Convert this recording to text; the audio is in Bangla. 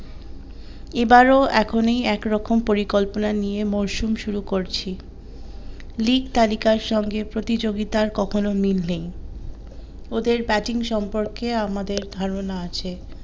এবার ও এখনই একরকম পরিকল্পনা নিয়ে মরসুম শুরু করছি লীগ তালিকার সঙ্গে প্রতিযোগিতার কখনো মিল নেই, ওদের batting সম্পর্কে আমাদের ধারণা আছে।